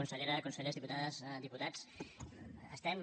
consellera consellers diputades diputats estem